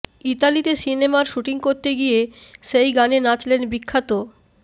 ইতালিতে সিনেমার শুটিং করতে গিয়ে সেই গানে নাচলেন বিখ্যাত